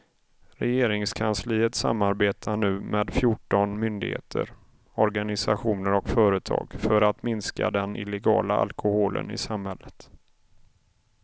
Regeringskansliet samarbetar nu med fjorton myndigheter, organisationer och företag för att minska den illegala alkoholen i samhället.